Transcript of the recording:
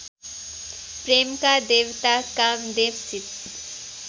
प्रेमका देवता कामदेवसित